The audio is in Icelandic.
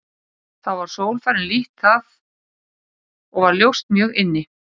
Þá var sól farin lítt það og var ljóst mjög inni.